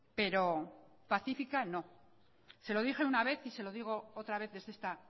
pero pacífica no se lo dije una vez y se lo digo otra vez desde esta